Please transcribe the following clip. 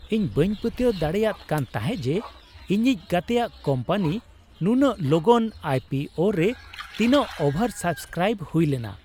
ᱤᱧ ᱵᱟᱹᱧ ᱯᱟᱹᱛᱭᱟᱹᱣ ᱫᱟᱲᱮᱭᱟᱫ ᱠᱟᱱ ᱛᱟᱦᱮᱸᱫ ᱡᱮ ᱤᱧᱤᱡ ᱜᱟᱛᱮᱭᱟᱜ ᱠᱳᱢᱯᱟᱱᱤ ᱱᱩᱱᱟᱹᱜ ᱞᱚᱜᱚᱱ ᱟᱭ ᱯᱤ ᱳ ᱨᱮ ᱛᱤᱱᱟᱹᱜ ᱳᱵᱷᱟᱨ ᱥᱟᱵᱽᱥᱠᱨᱟᱭᱤᱵᱽ ᱦᱩᱭ ᱞᱮᱱᱟ ᱾